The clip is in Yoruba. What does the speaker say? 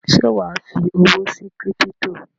Ṣé wà á fi owó sí kírípítò?